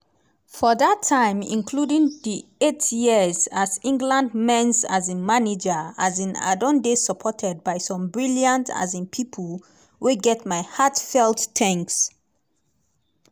for dat time including di eight years as england men's um manager um i don dey supported by some brilliant um pipo wey get my heartfelt thanks.